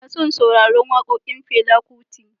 Ina son sauraron wakokin Fela Kuti.